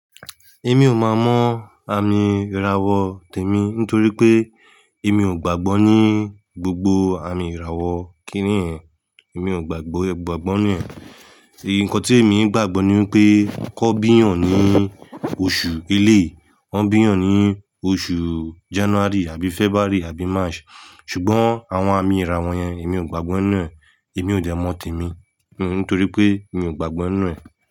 Èmi ò mọ àmì ìràwọ̀ tèmi nítorí pé èmi ò gbàgbọ́ ní gbogbo àmì ìràwọ̀ kíní ẹ. Èmi ò gbàgbọ́, gbàgbọ́ ní ẹ̀. Ǹkan tí èmi ń gbàgbọ́ ní wípé kò bí eyán ní oṣù ẹlẹ́e Wọn bí hán ní oṣù January àbí February àbí March. Ṣùgbọ́n àwọn àmì ìràwọ̀ yẹn èmi ò gbàgbọ́ nínu e Èmi ò dẹ mọ tèmi nítorí pé mi ò gbàgbọ́ nínu e.